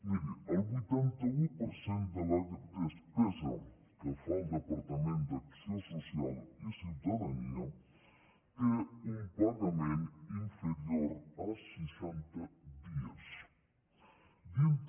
miri el vuitanta un per cent de la despesa que fa el departament d’acció social i ciutadania té un pagament inferior a seixanta dies dintre